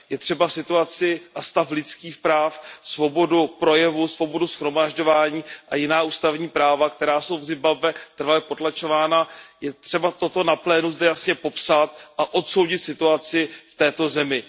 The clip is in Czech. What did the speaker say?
Je třeba situaci a stav lidských práv, svobodu projevu, svobodu shromažďování a jiná ústavní práva, která jsou v Zimbabwe trvale potlačována, zde na plénu jasně popsat a odsoudit situaci v této zemi.